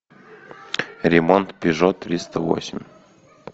ремонт пежо триста восемь